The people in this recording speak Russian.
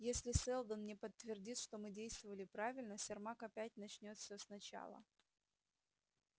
если сэлдон не подтвердит что мы действовали правильно сермак опять начнёт всё сначала